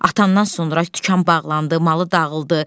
Atandan sonra dükan bağlandı, malı dağıldı.